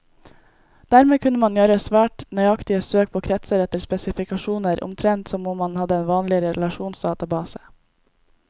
Dermed kunne man gjøre svært nøyaktige søk på kretser etter spesifikasjoner, omtrent som om man hadde en vanlig relasjonsdatabase.